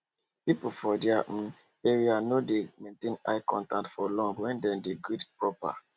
people for their um area no dey maintain eye contact for long when dem dey greet proper